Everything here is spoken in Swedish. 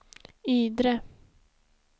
Ydre